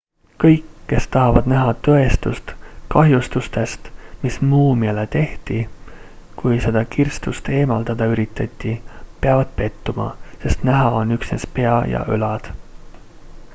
kõik kes tahavad näha tõestust kahjustustest mis muumiale tehti kui seda kirstust eemaldada üritati peavad pettuma sest näha on üksnes pea ja õlad